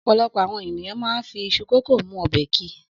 Ọ̀pọ̀lọpọ̀ àwọn ènìyàn máa ń fi iṣu kòkó mú ọbẹ̀ ki.